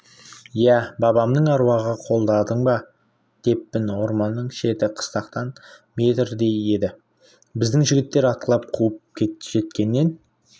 ия бабамның аруағы қолдадың ба деппін орманның шеті қыстақтан метрдей еді біздің жігіттер атқылап қуып жеткенін